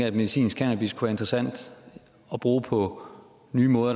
at medicinsk cannabis kunne være interessant at bruge på nye måder